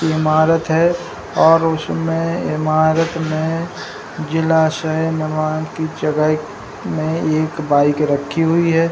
ये इमारत है और उसमे इमारत मे जिला की जगह में एक बाइक रखी हुई है |